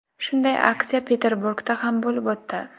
Shunday aksiya Peterburgda ham bo‘lib o‘tdi.